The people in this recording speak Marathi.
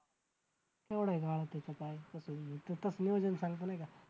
केवढा आहे गाळा त्याचं काय सांगतो नाही का